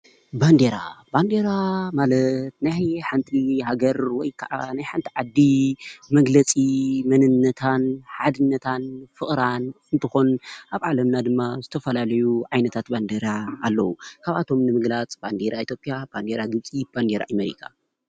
ባንዴራ ባንዴራ ማለት ናይ ሓንቲ ሃገር ወይከዓ ናይ ሓንቲ ዓዲ መግለፂ መንነታ ን ሓድነታን ፍቅራን እንትኮን ኣብ ዓለምና ድማ ዝተፈላለዩ ዓይነታት ባንዴራ ኣለው። ካብኣቶም ንምግላፅ ባንዴራ ኢትዮጵያ፣ ባንዴራ ግብፂ፣ ባንዴራ ኤሜሪካ።